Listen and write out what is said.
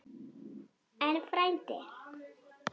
En frændi?